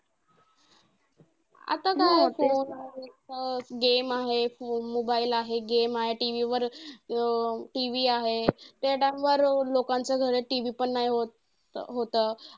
आता काय phone game आहे. mobile आहे, game आहे. TV वर TV आहे. त्या time वर लोकांच्या घरात TV पण नाही होतं होतं.